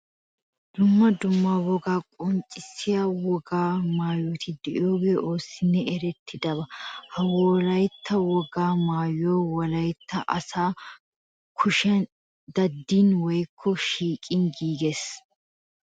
Dumma dumma wogaa qonccissiya wogaa maayoti de'iyogee oossinne erettiyaba. Ha wolaytta wogaa maayoy wolaytta asay kushiyan daddidi woykko sikkin giigees.